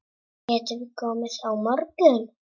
Getiði komið á morgun?